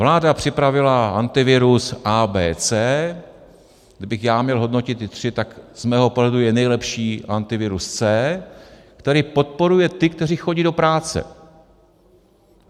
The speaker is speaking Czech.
Vláda připravila Antivirus A, B, C. Kdybych já měl hodnotit ty tři, tak z mého pohledu je nejlepší Antivirus C, který podporuje ty, kteří chodí do práce.